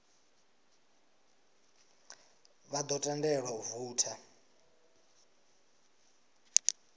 vha ḓo tendelwa u voutha